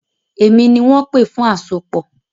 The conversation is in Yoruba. Èmi ni wọ́n pè fún àsopọ̀.